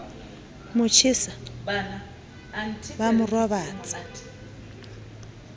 mo jesa ba mo robatsa